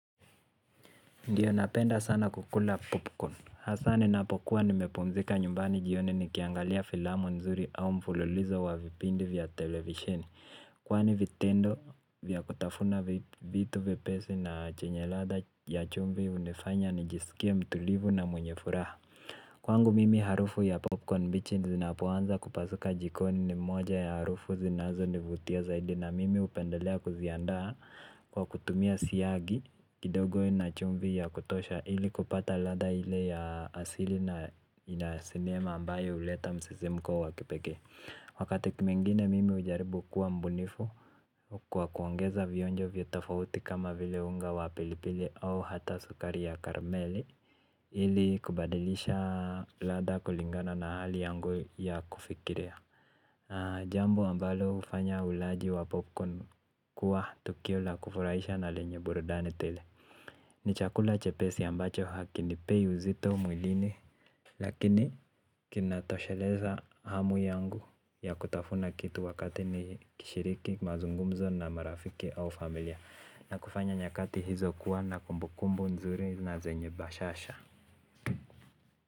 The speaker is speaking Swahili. Ndiyo napenda sana kukula popcorn. Hasa ninapokuwa nimepumzika nyumbani jioni nikiangalia filamu nzuri au mfululizo wa vipindi vya televisheni. Kwani vitendo vya kutafuna vitu vyepesi na chenye ladha ya chumvi hunifanya nijisikie mtulivu na mwenye furaha. Kwangu mimi harufu ya popcorn mbichi zinapoanza kupasuka jikoni ni moja ya harufu zinazonivutia zaidi na mimi hupendelea kuziandaa kwa kutumia siagi kidogo na chumvi ya kutosha ili kupata ladha ile ya asili na sinema ambayo huleta msisimko wa kipekee. Wakati mwengine mimi hujaribu kuwa mbunifu kwa kuongeza vionjo vya tofauti kama vile unga wa pilipili au hata sukari ya karameli ili kubadilisha ladha kulingana na hali yangu ya kufikiria. Jambo ambalo hufanya ulaji wa popcorn kuwa tukio la kufuraisha na lenye burudani tele. Ni chakula chepesi ambacho hakinipei uzito mwilini. Lakini kinatosheleza hamu yangu ya kutafuna kitu wakati nikishiriki mazungumzo na marafiki au familia na kufanya nyakati hizo kuwa na kumbukumbu nzuri na zenye bashasha.